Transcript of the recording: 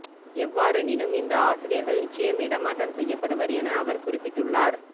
எவ்வாறெனினும் இந்த ஆசிரியர்கள் நிச்சயம் இடமாற்றம் செய்யப்படுவர் என அவர் குறிப்பிட்டுள்ளார்